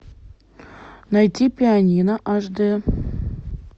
найти пианино аш д